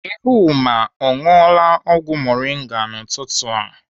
Ehumma ọ ṅụọla ọgwụ moringa a n'ụtụtụ a?